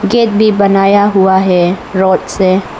Gate भी बनाया हुआ है रोड से।